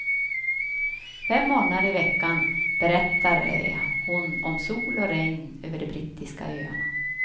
Fem morgnar i veckan berättar hon om sol och regn över de brittiska öarna.